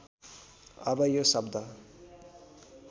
अब यो शब्द